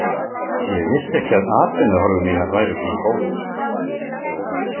Ég vissi ekki að atvinnuhorfur mínar væru svona góðar.